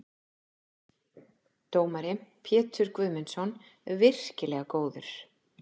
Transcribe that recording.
Dómari: Pétur Guðmundsson- virkilega góður.